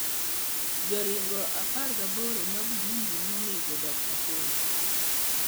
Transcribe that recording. Joringo apagaboro ma Burundi noneg Dr Congo